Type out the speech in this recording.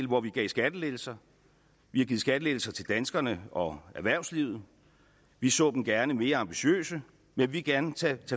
hvor vi gav skattelettelser vi har givet skattelettelser til danskerne og erhvervslivet vi så dem gerne mere ambitiøse vi vil gerne tage